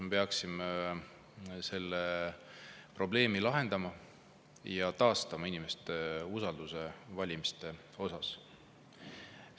Me peaksime selle probleemi lahendama ja taastama inimeste usalduse valimiste vastu.